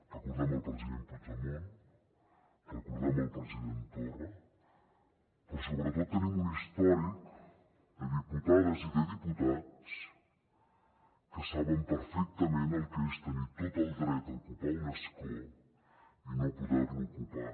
recordem el president puigdemont recordem el president torra però sobretot tenim un històric de diputades i de diputats que saben perfectament el que és tenir tot el dret a ocupar un escó i no poder lo ocupar